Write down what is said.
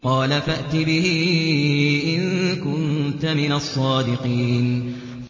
قَالَ فَأْتِ بِهِ إِن كُنتَ مِنَ الصَّادِقِينَ